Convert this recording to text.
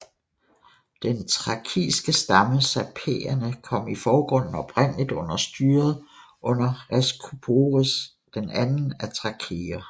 Den thrakiske stamme sapaeierne kom i forgrunden oprindeligt under styret under Reskuporis II af thrakere